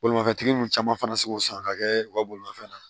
Bolimafɛntigi ninnu caman fana bɛ se k'o san ka kɛ u ka bolimanfɛn na